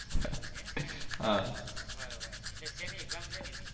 એટલે શેની exam શેની હતી.